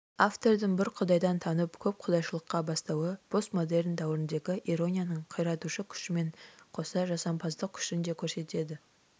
автордың бір құдайдан танып көп құдайшылдыққа бастауы постмодерн дәуіріндегі иронияның қиратушы күшімен қоса жасампаздық күшін де көрсетеді